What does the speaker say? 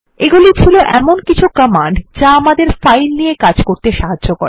এগুলি ছিল এমন কিছু কমান্ড যা আমাদের ফাইল নিয়ে কাজ করতে সাহায্য করে